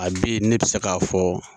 Hali bi ne bɛ se k'a fɔ